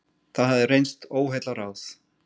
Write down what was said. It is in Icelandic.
Það hafði reynst óheillaráð.